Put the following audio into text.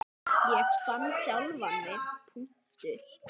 Ég fann sjálfan mig.